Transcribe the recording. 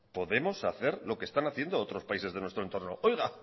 podemos hacer lo que están haciendo otros países de nuestro entorno oiga